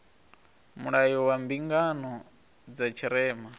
mulayo wa mbingano dza tshirema